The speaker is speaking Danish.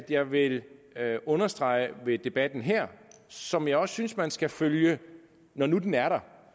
jeg vil understrege ved debatten her som jeg også synes man skal følge når nu den er der